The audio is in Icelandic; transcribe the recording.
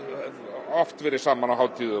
oft verið saman á hátíðum